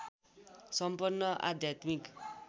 सम्पन्न आध्यात्मिक